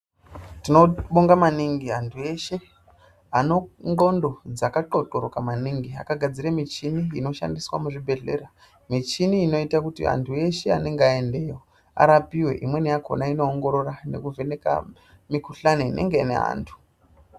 Tinobonga maningi antu eshe, ane ndxondo dzakaxoxoroka maningi akagadzire michini inoshandiswa muzvibhedhlera. Michini inoita kuti antu eshe anenge aendeyo, arapiwe, imweni yakhona inoongorora nekuvheneka mikhuhlani inenge ine antu.